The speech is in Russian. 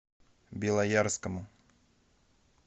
белоярскому